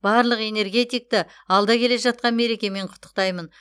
барлық энергетикті алда келе жатқан мерекемен құттықтаймын